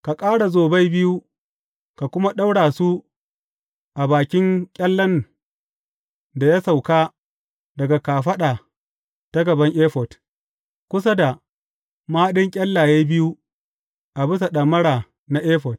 Ka ƙara zobai biyu, ka kuma ɗaura su a bakin ƙyallen da ya sauka daga kafaɗa ta gaban efod, kusa da mahaɗin ƙyallaye biyu a bisa ɗamara na efod.